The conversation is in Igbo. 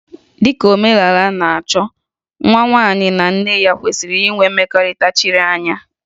Dị ka omenala na-achọ, nwa nwaanyị na nne ya kwesịrị inwe mmekọrịta chiri anya